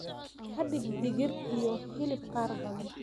ka dhig digir iyo hilib qaar badan